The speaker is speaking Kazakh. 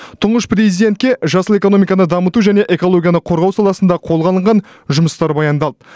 тұңғыш президентке жасыл экономиканы дамыту және экологияны қорғау саласында қолға алынған жұмыстар баяндалды